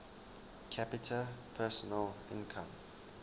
capita personal income